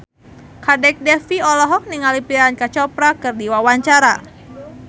Kadek Devi olohok ningali Priyanka Chopra keur diwawancara